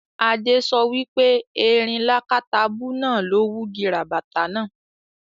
Adé so wipe erin lákátabú náà ló wugi ràbàtà náà